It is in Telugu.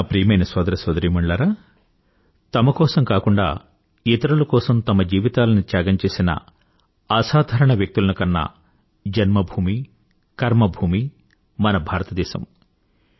నా ప్రియమైన సోదర సోదరీమణులారా తమ కోసం కాకుండా ఇతరుల కోసం తమ జీవితాలని త్యాగం చేసిన అసాధారణ వ్యక్తులను కన్న జన్మ భూమి కర్మ భూమి మన భారతదేశం